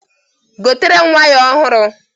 Gotere m waya ọhụrụ!